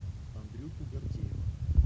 андрюху гордеева